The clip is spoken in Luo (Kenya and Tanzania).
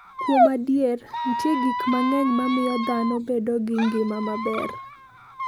Kuom adier, nitie gik mang'eny mamiyo dhano bedo gi ngima maber.